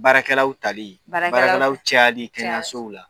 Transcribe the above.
Baarakɛlaw tali, baarakɛlaw, baarakɛlawlaw cayali kɛnɛyasow la.